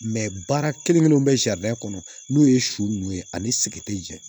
baara kelen kelenw bɛ sariya kɔnɔ n'o ye su nunnu ye ani sigɛrɛti jɛ